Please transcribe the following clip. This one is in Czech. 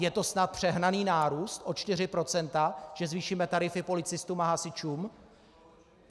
Je to snad přehnaný nárůst o 4 %, že zvýšíme tarify policistům a hasičům?